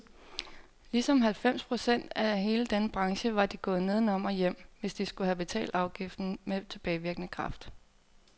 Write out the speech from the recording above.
Ligesom halvfems procent af hele denne branche var de gået nedenom og hjem, hvis de skulle have betalt afgiften med tilbagevirkende kraft.